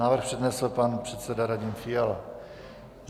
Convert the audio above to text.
Návrh přednesl pan předseda Radim Fiala.